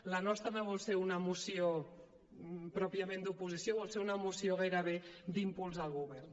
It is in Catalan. la nostra no vol ser una moció pròpiament d’oposició vol ser una moció gairebé d’impuls al govern